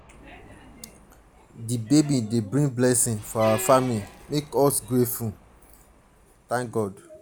di baby dey bring blessings for our family make us grateful grateful thank god.